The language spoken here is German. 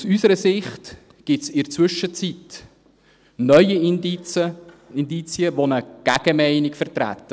Aus unserer Sicht gibt es in der Zwischenzeit neue Indizien, die eine Gegenmeinung vertreten.